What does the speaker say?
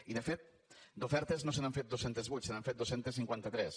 i de fet d’ofertes no se n’han fet dos cents i vuit se n’han fet dos cents i cinquanta tres